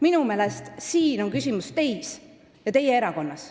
Minu meelest on siin küsimus teis ja teie erakonnas.